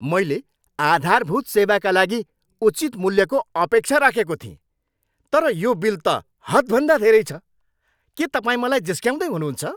मैले आधारभूत सेवाका लागि उचित मूल्यको अपेक्षा राखेको थिएँ, तर यो बिल त हदभन्दा धेरै छ! के तपाईँ मलाई जिस्क्याउँदै हुनुहुन्छ?